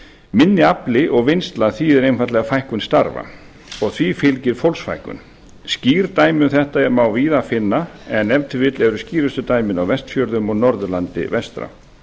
minni afli og vinnsla þýðir einfaldlega fækkun starfa og því fylgir fólksfækkun skýr dæmi um þetta má víða finna en ef til vill eru skýrslu dæmin á vestfjörðum og norðurlandi vestra